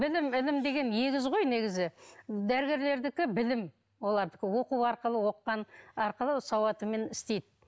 білім інім деген егіз ғой негізі дәрігерлердікі білім олардікі оқу арқылы оқығаны арқылы сауатымен істейді